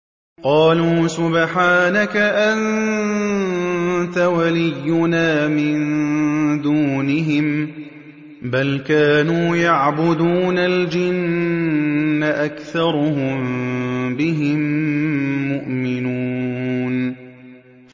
قَالُوا سُبْحَانَكَ أَنتَ وَلِيُّنَا مِن دُونِهِم ۖ بَلْ كَانُوا يَعْبُدُونَ الْجِنَّ ۖ أَكْثَرُهُم بِهِم مُّؤْمِنُونَ